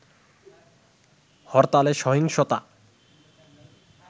হরতালে সহিংসতা